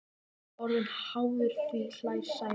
Hann er orðinn háður því, hlær Sæmi.